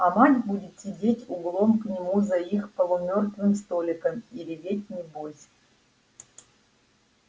а мать будет сидеть углом к нему за их полумёртвым столиком и реветь небось